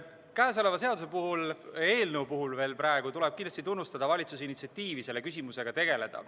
Käesoleva seaduse puhul – praegu veel eelnõu puhul – tuleb kindlasti tunnustada valitsuse initsiatiivi selle küsimusega tegeleda.